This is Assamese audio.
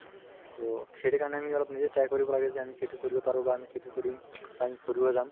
to সেইটোৰ কাৰণে আমি অলপ নিজে try কৰিব লাগে যে আমি সেইটো কৰিব পাৰো বা আমি সেইটো কৰিম আমি ফুৰিব যাম